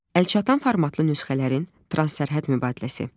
Əlçatan formatlı nüsxələrin transsərhəd mübadiləsi.